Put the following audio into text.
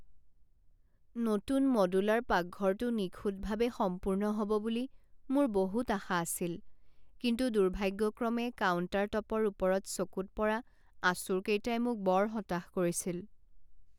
নতুন মডুলাৰ পাকঘৰটো নিখুঁতভাৱে সম্পূৰ্ণ হ'ব বুলি মোৰ বহুত আশা আছিল, কিন্তু দুৰ্ভাগ্যক্ৰমে কাউণ্টাৰটপৰ ওপৰত চকুত পৰা আঁচোৰকেইটাই মোক বৰ হতাশ কৰিছিল।